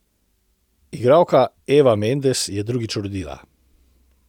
Igralka Eva Mendes je drugič rodila.